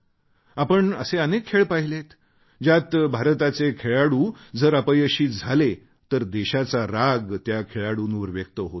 आपण असे अनेक खेळ पाहिले आहेत ज्यात भारताचे खेळाडू जर अपयशी झाले तर देशाचा राग त्या खेळाडूंवर व्यक्त होतो